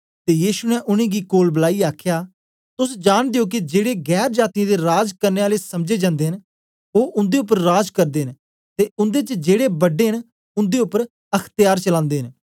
ते यीशु ने उनेंगी कोल बलाईयै आखया तोस जांनदे ओ के जेड़े गैर जातीयें दे राज करने आले समझे जन्दे न ओ उन्दे उपर राज करदे न ते उन्दे च जेड़े बड्डे न उन्दे उपर अख्त्यार चलान्दे न